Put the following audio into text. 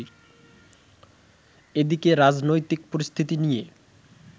এদিকে রাজনৈতিক পরিস্থিতি নিয়ে